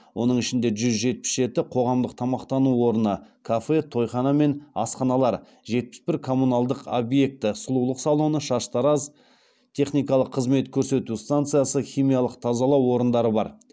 оның ішінде жүз жетпіс жеті қоғамдық тамақтану орны жетпіс бір коммуналдық объекті бар